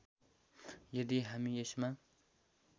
यदि हामी यसमा